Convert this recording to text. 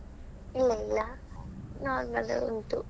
ಇಲ್ಲ ಇಲ್ಲ normal ಉಂಟು.